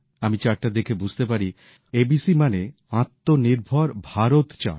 আমি চার্টটা দেখে বুঝতে পারি এবিসি মানে আত্মনির্ভর ভারত চার্ট